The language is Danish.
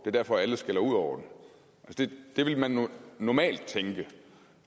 er derfor alle skælder ud over den det ville man normalt tænke